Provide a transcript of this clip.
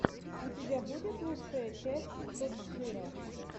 у тебя будет лучшая часть топ джира